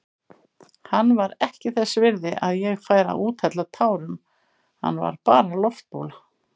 Hann var ekki þess virði að ég færi að úthella tárum, hann var bara loftbóla.